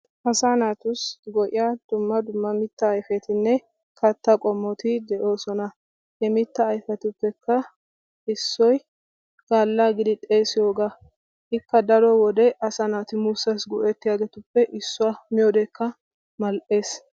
Asaa naatussi go"iya dumma dumma mittaa ayfetinne kattaa qommoti de7oosona. He mittaa ayfetuppekka issoy baallaa giidi xeesiyogaa ikka daro wode asaa naati muussaassi go'ettiyobatuppe issuwa miyodekka mal"ees.